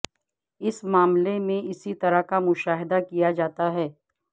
اس معاملے میں اسی طرح کا مشاہدہ کیا جاتا ہے